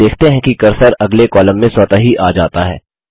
आप देखते हैं कि कर्सर अगले कॉलम में स्वतः ही आ जाता है